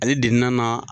Ale de na na